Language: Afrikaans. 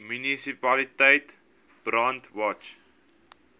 munisipaliteit brandwatch